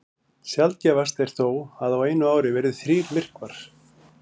Sjaldgæfast er þó að á einu ári verði þrír myrkvar.